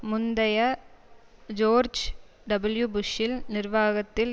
முந்தைய George W புஷ்ஷில் நிர்வாகத்தில்